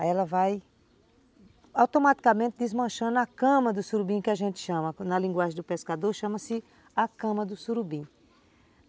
Aí ela vai automaticamente desmanchando a cama do surubim que a gente chama, na linguagem do pescador chama-se a cama do surubim.